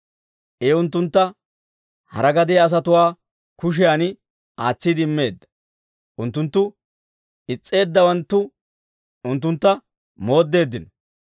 I unttuntta hara gadiyaa asatuwaa kushiyan aatsiide immeedda; unttunttu is's'eeddawanttu unttuntta mooddeeddino.